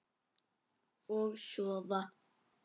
Og sofa.